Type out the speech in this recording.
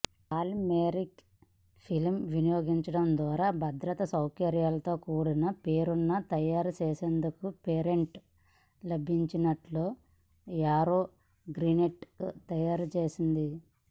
polymeric film వినియోగించడం ద్వారా భద్రతా సౌకర్యాలతో కూడిన పేపర్ను తయారు చేసేందుకు పేటెంట్ లభించినట్లు యారో గ్రీన్టెక్ తెలియజేసింది